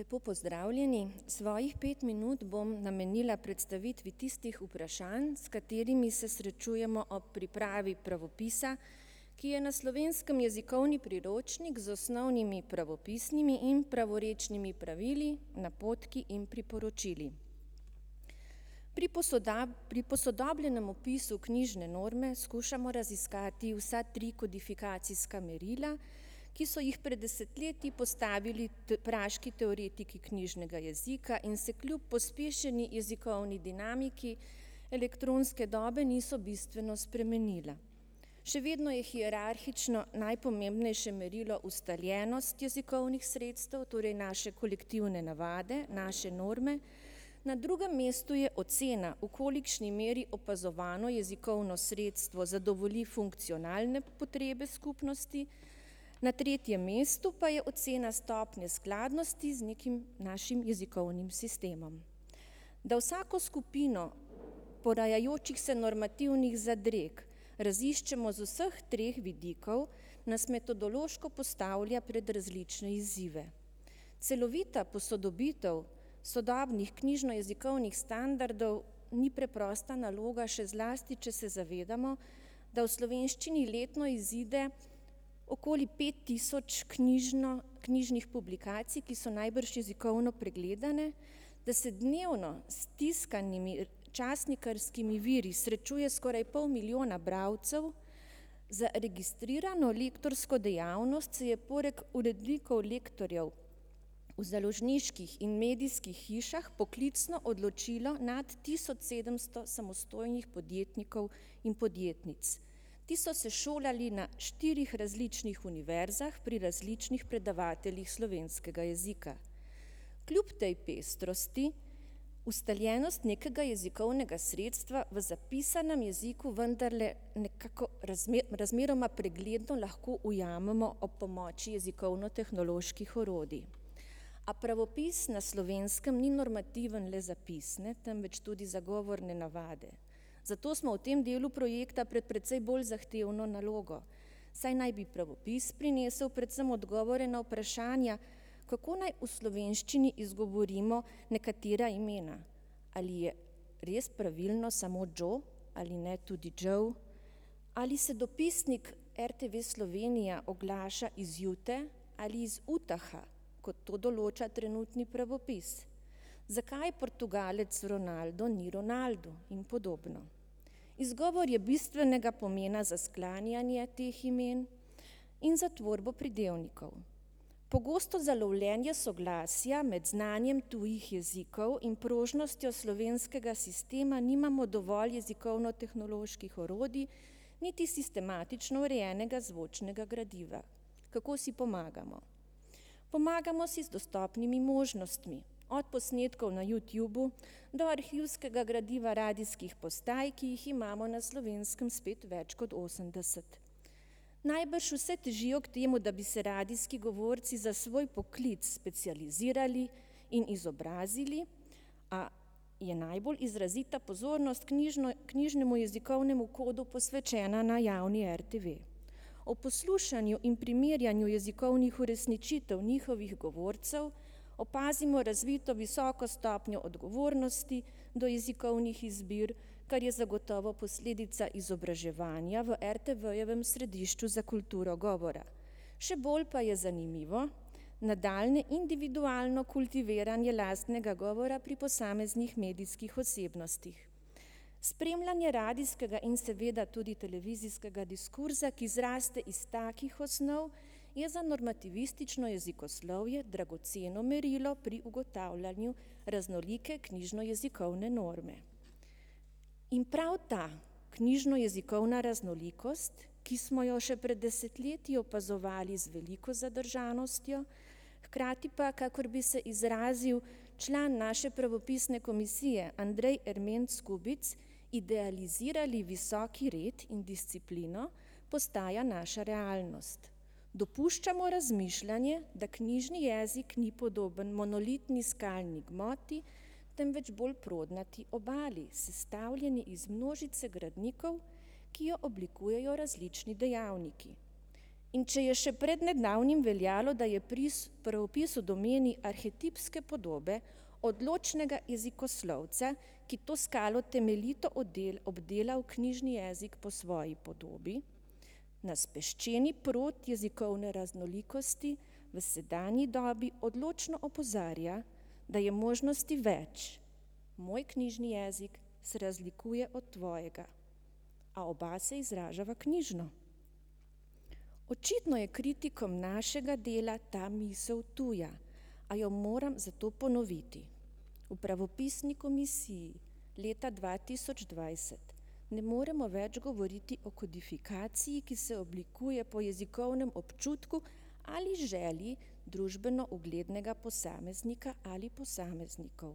Lepo pozdravljeni. Svojih pet minut bom namenila predstavitvi tistih vprašanj, s katerimi se srečujemo ob pripravi pravopisa, ki je na Slovenskem jezikovni priročnik z osnovnimi pravopisnimi in pravorečnimi pravili, napotki in priporočili. Pri pri posodobljenem opisu knjižne norme skušamo raziskati vsa tri kodifikacijska merila, ki so jih pred desetletji postavili praški teoretiki knjižnega jezika in se kljub pospešeni jezikovni dinamiki elektronske dobe niso bistveno spremenila. Še vedno je hierarhično najpomembnejše merilo ustaljenost jezikovnih sredstev, torej naše kolektivne navade, naše norme. Na drugem mestu je ocena, v kolikšni meri opazovano jezikovno sredstvo zadovolji funkcionalne potrebe skupnosti. Na tretjem mestu pa je ocena stopnje skladnosti z nekim našim jezikovnim sistemom. Da vsako skupino porajajočih se normativnih zadreg raziščemo z vseh treh vidikov, nas metodološko postavlja pred različne izzive. Celovita posodobitev sodobnih knjižnojezikovnih standardov ni preprosta naloga, še zlasti če se zavedamo, da v slovenščini letno izide okoli pet tisoč knjižno, knjižnih publikacij, ki so najbrž jezikovno pregledane, da se dnevno s tiskanimi časnikarskimi viri srečuje skoraj pol milijona bralcev. Za registrirano lektorsko dejavnost se je poleg urednikov lektorjev v založniških in medijskih hišah poklicno odločilo nad tisoč sedemsto samostojnih podjetnikov in podjetnic. Ti so se šolali na štirih različnih univerzah pri različnih predavateljih slovenskega jezika. Kljub tej pestrosti ustaljenost nekega jezikovnega sredstva v zapisanem jeziku vendarle nekako razmeroma pregledno lahko ujamemo ob pomoči jezikovnotehnoloških orodij. A pravopis na Slovenskem ni normativen le za pisne, temveč tudi za govorne navade. Zato smo v tem delu projekta pred precej bolj zahtevno nalogo, saj naj bi pravopis prinesel predvsem odgovore na vprašanja, kako naj v slovenščini izgovorimo nekatera imena. Ali je res pravilno samo Joe ali ne tudi Joe. Ali se dopisnik RTV Slovenija oglaša iz Jute ali iz Utaha, kot to določa trenutni pravopis. Zakaj Portugalec Ronaldo ni Ronaldu in podobno. Izgovor je bistvenega pomena za sklanjanje teh imen in za tvorbo pridevnikov. Pogosto za lovljenje soglasja med znanjem tujih jezikov in prožnostjo slovenskega sistema nimamo dovolj jezikovnotehnoloških orodij niti sistematično urejenega zvočnega gradiva. Kako si pomagamo? Pomagamo si z dostopnimi možnostmi. Od posnetkov na Youtubu do arhivskega gradiva radijskih postaj, ki jih imamo na Slovenskem spet več kot osemdeset. Najbrž vse težijo k temu, da bi se radijski govorci za svoj poklic specializirali in izobrazili, a je najbolj izrazita pozornost knjižno, knjižnemu jezikovnemu kodu posvečena na javni RTV. Ob poslušanju in primerjanju jezikovnih uresničitev njihovih govorcev opazimo razvito visoko stopnjo odgovornosti do jezikovnih izbir, kar je zagotovo posledica izobraževanja v RTV-jevem središču za kulturo govora. Še bolj pa je zanimivo nadaljnje individualno kultiviranje lastnega govora pri posameznih medijskih osebnostih. Spremljanje radijskega in seveda tudi televizijskega diskurza, ki zraste iz takih osnov, je za normativistično jezikoslovje dragoceno merilo pri ugotavljanju raznolike knjižnojezikovne norme. In prav ta knjižnojezikovna raznolikost, ki smo jo še pred desetletji opazovali z veliko zadržanostjo, hkrati pa, kakor bi se izrazil član naše pravopisne komisije Andrej Ermenc Skubic, idealizirali visoki red in disciplino, postaja naša realnost. Dopuščamo razmišljanje, da knjižni jezik ni podoben monolitni skalni gmoti, temveč bolj prodnati obali, sestavljeni iz množice gradnikov, ki jo oblikujejo različni dejavniki. In če je še pred nedavnim veljalo, da je pravopis v domeni arhetipske podobe odločnega jezikoslovca, ki to skalo temeljito obdelal knjižni jezik po svoji podobi. Na speščeni prod jezikovne raznolikosti v sedanji dobi odločno opozarja, da je možnosti več. Moj knjižni jezik se razlikuje od tvojega. A oba se izražava knjižno. Očitno je kritikom našega dela ta misel tuja. A jo moram zato ponoviti. V pravopisni komisiji leta dva tisoč dvajset ne moremo več govoriti o kodifikaciji, ki se oblikuje po jezikovnem občutku ali želji družbeno uglednega posameznika ali posameznikov,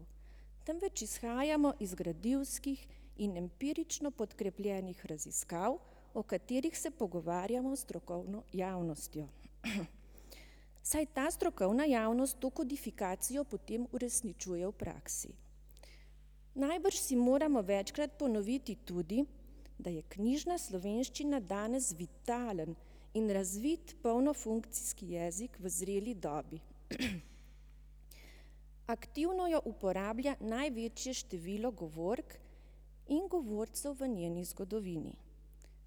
temveč izhajamo iz gradivskih in empirično podkrepljenih raziskav, o katerih se pogovarjamo s strokovno javnostjo. Saj ta strokovna javnost to kodifikacijo potem uresničuje v praksi. Najbrž si moramo večkrat ponoviti tudi, da je knjižna slovenščina danes vitalen in razviti polnofunkcijski jezik v zreli dobi. Aktivno jo uporablja največje število govork in govorcev v njeni zgodovini,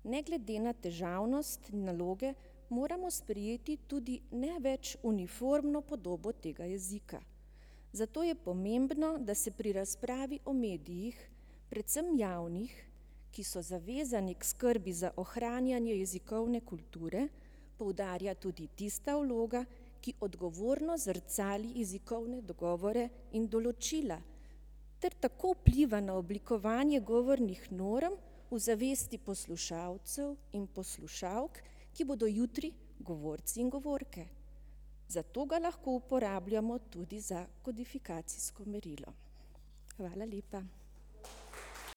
ne glede na težavnost naloge moramo sprejeti tudi ne več uniformno podobo tega jezika. Zato je pomembno, da se pri razpravi o medijih, predvsem javnih, ki so zavezani k skrbi za ohranjanje jezikovne kulture, poudarja tudi tista vloga, ki odgovorno zrcali jezikovne dogovore in določila ter tako vpliva na oblikovanje govornih norm v zavesti poslušalcev in poslušalk, ki bodo jutri govorci in govorke. Zato ga lahko uporabljamo tudi za kodifikacijsko merilo. Hvala lepa.